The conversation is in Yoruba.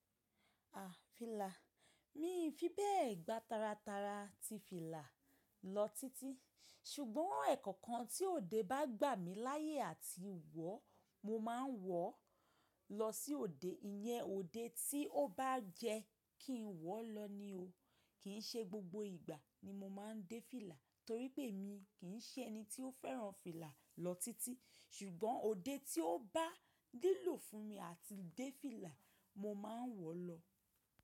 À, fìlà. Mí fi bẹ́ẹ̀ gbá tara tara ti fìlà lọ títí, ṣùgbọ́n ẹ̀kọọkan tí òde bá gbà mí láyé àti wọ̀, mo máa ń wọ̀ lọ sí òde. Iyẹn òde tí ó bá jẹ́ kí n wọ̀ lọ ni o. Kì í ṣe gbogbo ìgbà ni mo máa ń dé fìlà torí pé èmi kì í ṣe ẹni tí ó fẹ́ràn fìlà lọ títí. Ṣùgbọ́n òde tí ó bá lílò fún mi àti dé fìlà, mo máa ń wọ̀ lọ.